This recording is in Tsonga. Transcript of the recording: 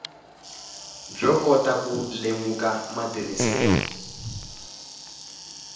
byo kota ku lemuka matirhiselo